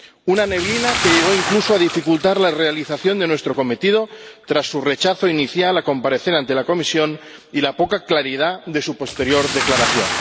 una neblina que llegó incluso a dificultar la realización de nuestro cometido tras su rechazo inicial a comparecer ante la Comisión y la poca claridad de su posterior declaración.